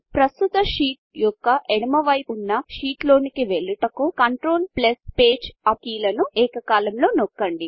ప్రస్తుత షీట్యొక్క ఎడమ వైపు ఉన్న షీట్లోనికి వెళ్ళుటకు కంట్రోల్ పేజ్ Upకంట్రోల్ ప్లస్ పేజ ఉప్ కీలను ఏకకాలంలో నొక్కండి